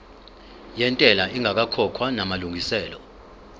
yentela ingakakhokhwa namalungiselo